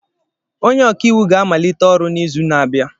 Onye ọka iwu ga-amalite ọrụ n'izu na-abịa.